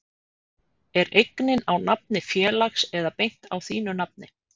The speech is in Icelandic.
Er eignin á nafni félags eða beint á þínu nafni?